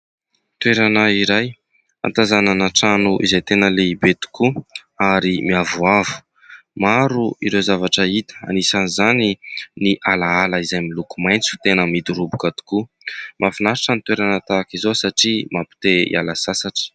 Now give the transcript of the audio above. Toerana iray hahatazànana trano izay tena lehibe tokoa ary miavoavo. Maro ireo zavatra hita, anisan' izany ny alaala izay miloko maitso tena midoroboka tokoa. Mafinatritra ny toerana tahaka izao satria mampite-hiala sasatra.